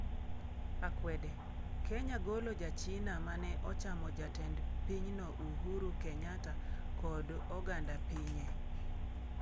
Akwede: Kenya golo ja China mane ochamo Jatend pinyno Uhuru Kenyatta kod oganda pinye